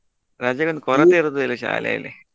ರಜೆ ಒಂದ ಕೊರತೆ ಇರುವುದು ಶಾಲೆಯಲ್ಲಿ.